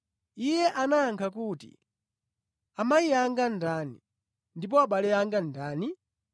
Iye anayankha kuti, “Amayi anga ndani ndipo abale anga ndi ndani?”